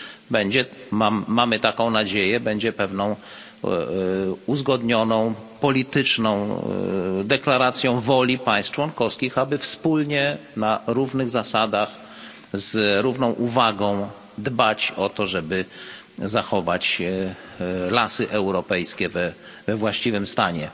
Będzie mamy taką nadzieję pewną uzgodnioną polityczną deklaracją woli państw członkowskich, aby wspólnie, na równych zasadach, z równą uwagą dbać o to, żeby zachować lasy europejskie we właściwym stanie.